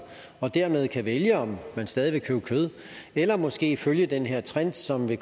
og dermed kan vælge om man stadig vil købe kød eller måske følge den her trend som vil